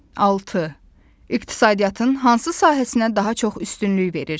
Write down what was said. Altı: İqtisadiyyatın hansı sahəsinə daha çox üstünlük verirsiniz?